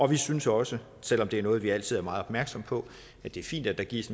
vi synes også selv om det er noget vi altid er meget opmærksom på at det er fint at der gives